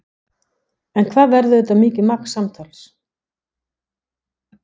En hvað verður þetta mikið magn samtals?